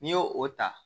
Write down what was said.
N'i y'o o ta